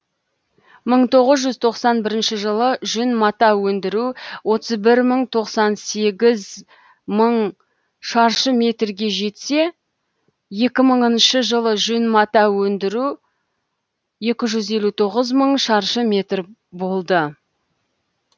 мың тоғыз жүз тоқсан бірінші жылы жүн мата өндіру отыз бір мың тоқсан сегіз мың шаршы метрге жетсе екі мыңыншы жылы жүн мата өндіру екі жүз елу тоғыз мың шаршы метр болды